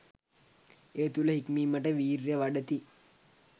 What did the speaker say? ඒ තුළ හික්මීමට වීර්යය වඩති.